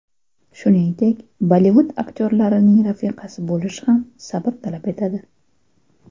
Shuningdek, Bollivud aktyorlarining rafiqasi bo‘lish ham sabr talab etadi.